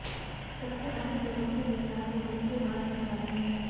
जबकि अन्य दलों के विचार पोलिंग के बाद मर जाते हैं